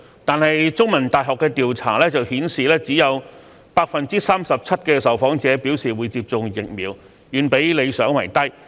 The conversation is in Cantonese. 但是，香港中文大學進行調查的結果顯示只有 37% 的受訪者表示會接種疫苗，遠比理想為低。